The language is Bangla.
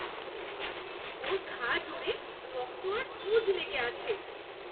ওর ঘা জুড়ে রক্ত আর পুঁজ লেগে আছে।